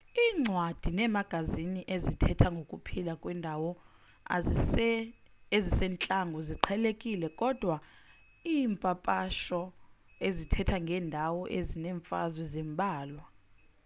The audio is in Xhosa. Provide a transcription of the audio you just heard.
iincwadi neemagazini ezithetha ngokuphila kwiindawo ezisentlango ziqhelekile kodwa iimpapasho ezithetha ngeendawo ezinemfazwe zimbalwa